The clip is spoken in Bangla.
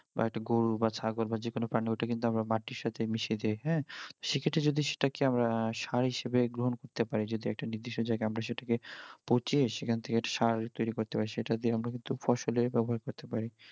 বা একটা গরু বা ছাগল বা যে কোন প্রাণী ওইটা কিন্তু আমরা মাটির সাথে মিশে দেই হ্যাঁ সে ক্ষেত্রে যদি সেটাকে আমরা সার হিসেবে গ্রহণ করতে পারি যদি একটা নির্দিষ্ট জায়গায় আমরা সেটাকে পচিয়ে সেখান থেকে একটা সার তৈরি করতে পারি সেটা দিয়ে আমরা কিন্তু ফসলে ব্যবহার করতে পারি